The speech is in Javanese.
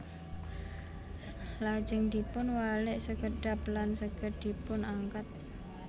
Lajeng dipun walik sekedhap lan saged dipun angkat